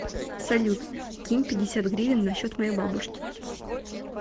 салют кинь пятьдесят гривен на счет моей бабушки